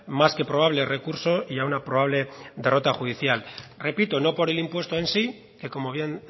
más que probable recurso y a una probable derrota judicial repito no por el impuesto en sí que como bien